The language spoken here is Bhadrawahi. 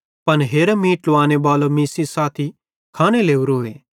पन हेरा मीं ट्लावाने बालो मीं सेइं साथी खाने लोरोए